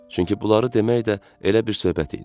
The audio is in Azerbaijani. Çünki bunları demək də elə bir söhbət idi.